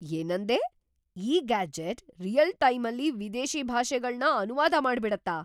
ಏನಂದೆ?! ಈ ಗ್ಯಾಜೆಟ್ ರಿಯಲ್‌-ಟೈಮಲ್ಲಿ ವಿದೇಶಿ ಭಾಷೆಗಳ್ನ ಅನುವಾದ ಮಾಡ್ಬಿಡತ್ತಾ?!